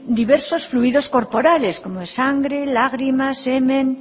diversos fluidos corporales como es sangre lágrimas semen